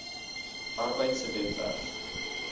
arbeid se webwerf